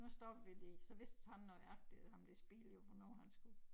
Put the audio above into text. Nu stopper vi lige så vidste han nøjagtig ham der spillede jo hvornår han skulle